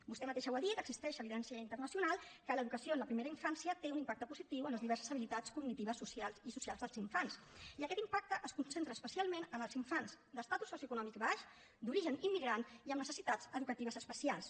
vostè mateixa ho ha dit existeix evidència internacional que l’educació en la primera infància té un impacte positiu en les diverses habilitats cognitives i socials dels infants i aquest impacte es concentra especialment en els infants d’estatus socioeconòmic baix d’origen immigrant i amb necessitats educatives especials